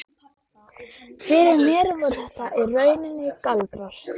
Fyrir mér voru þetta í rauninni galdrar.